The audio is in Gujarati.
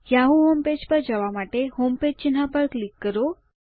યાહૂ હોમપેજ પર જવા માટે હોમપેજ ચિહ્ન પર ક્લિક કરો